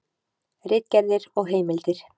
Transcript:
Ritgerðir og heimildir.